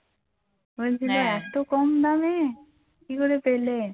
বলছিল এত কম দামে? কী করে পেলে